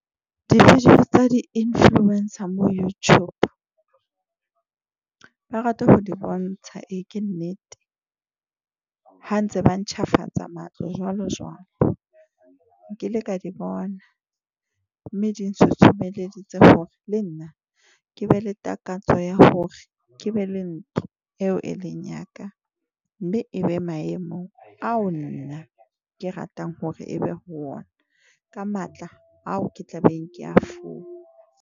Di-video tsa di-influencer mo Youtube. Ba rata ho di bontsha. E ke nnete ha ntse ba ntjhafatsa matlo jwalo jwalo, nkile ka di bona mme ding tshusumeleditse hore le nna ke be le takatso ya hore ke be le ntho eo e leng ya ka. Mme ebe maemo ao nna ke ratang hore ebe ho ona ka matla ao ke tla beng ke a .